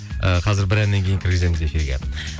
ыыы қазір бір әннен кейін кіргіземіз эфирге